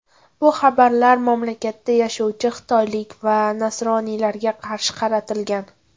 Bu xabarlar mamlakatda yashovchi xitoylik va nasroniylarga qarshi qaratilgan.